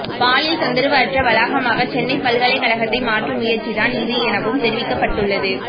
பாலியல் தொந்தரவு அற்ற வாளாகமாக சென்னை பல்கலைகழகத்தை மாற்றும் முயற்சிதான் இது எனவும் தெரிவிக்கப்பட்டுள்ளது